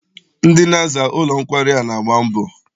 Ndị na-aza ụlọ nkwari a na-agba mbọ.